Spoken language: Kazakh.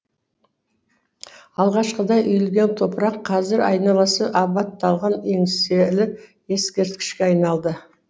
алғашқыда үйілген топырақ қазір айналасы абатталған еңселі ескерткішке айналды